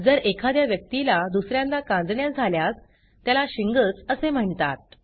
जर एखाद्या व्यक्तीला दुस यांदा कांजिण्या झाल्यास त्याला शिंगल्स असे म्हणतात